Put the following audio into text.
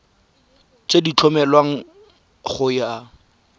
tse di tlhomilweng go ya